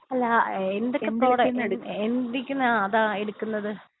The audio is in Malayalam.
അല്ലാ എന്തൊക്കെ പ്രോഡക്റ്റ്സ് എന്തോക്കീന്ന് അതാ എടുക്കുന്നത്?